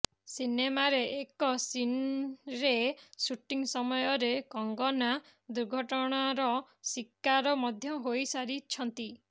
ସିନେମାରେ ଏକ ସିନରେ ସୁଟିଂ ସମୟରେ କଙ୍ଗନା ଦୁର୍ଘଟଣାର ଶିକାର ମଧ୍ୟ ହୋଇସାରିଛନ୍ତି